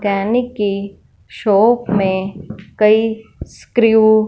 कैनिक की शॉप में कई स्क्रू --